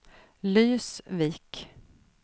Lysvik